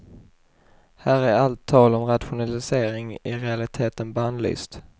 Här är allt tal om rationalisering i realiteten bannlyst.